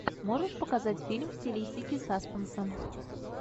можешь показать фильм в стилистике саспенса